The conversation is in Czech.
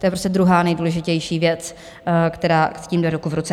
To je prostě druhá nejdůležitější věc, která s tím jde ruku v ruce.